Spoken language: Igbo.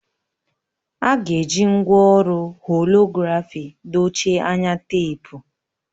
A ga-eji ngwa ọrụ holografi dochie anya teepu